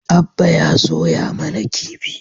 Abba ya soya mana kifi